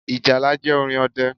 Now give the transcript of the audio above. Ìjálá jẹ́ orin ọdẹ